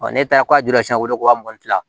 ne taara ka wele k'a mugan ni